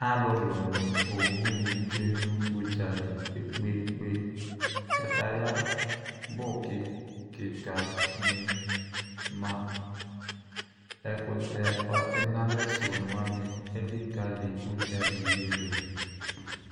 Alʋlʋ nʋ owʋ ni tsue nʋ ʋdzali kpe kpe kpe kataya bʋ kika ni ma ɛkʋtɛ ɔtɛnʋalɛ sʋ wani elikali ʋdzaki yɛ dʋ